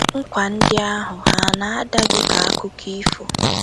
Nkwa ndị ahụ hà na - ada gị ka akụkọ ifo?